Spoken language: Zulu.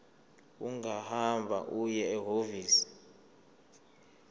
ungahamba uye ehhovisi